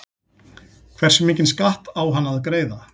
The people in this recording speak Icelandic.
Hversu mikinn skatt á hann að greiða?